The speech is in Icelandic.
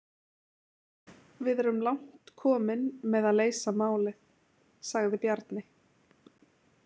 Við erum langt komin með að leysa málið, sagði Bjarni.